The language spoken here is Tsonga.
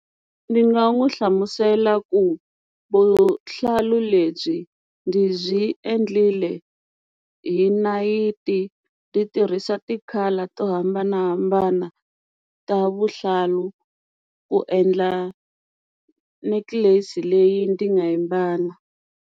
Ndzi nga n'wi hlamusela ku vuhlalu lebyi ndzi byi endlile hi nayiti ti tirhisa ti-colour to hambanahambana ta vuhlalu ku endla necklace leyi ndzi nga yi mbala.